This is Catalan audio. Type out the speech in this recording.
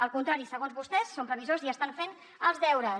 al contrari segons vostès són previsors i estan fent els deures